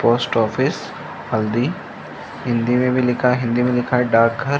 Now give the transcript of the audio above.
post office हल्दी हिंदी में भी लिखा है हिंदी में लिखा है डाक घर --